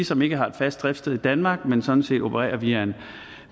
som ikke har et fast driftssted i danmark men sådan set opererer via